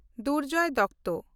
Durjoy Datta